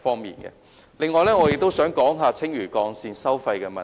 此外，我也想說說青嶼幹線的收費問題。